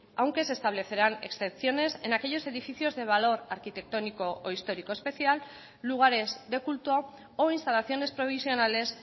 aunque se establecerán excepciones en aquellos edificios de valor arquitectónico o histórico especial lugares de culto o instalaciones provisionales